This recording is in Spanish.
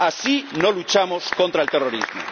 Así no luchamos contra el terrorismo.